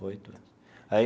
Oito anos aí.